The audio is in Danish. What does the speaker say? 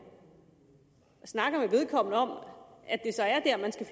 snakker med vedkommende om at